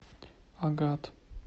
агат